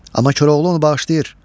Amma Koroğlu onu bağışlayır.